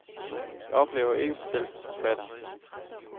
Jeg oplever ikke mig selv som forfatter.